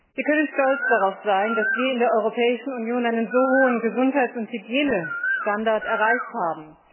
Wir können stolz darauf sein, dass wir in der Europäischen Union einen so hohen Gesundheits und Hygienestandard erreicht haben.